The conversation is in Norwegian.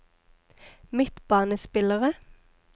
midtbanespillere